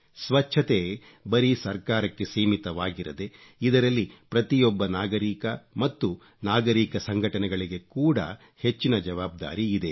ಸ್ವಚ್ಚತೆ ಬರೀ ಸರ್ಕಾರಕ್ಕೆ ಸೀಮಿತವಾಗಿರದೆ ಇದರಲ್ಲಿ ಪ್ರತಿಯೊಬ್ಬ ನಾಗರೀಕ ಮತ್ತು ನಾಗರೀಕ ಸಂಘಟನೆಗಳಿಗೆ ಕೂಡ ಹೆಚ್ಚಿನ ಜವಾಬ್ದಾರಿ ಇದೆ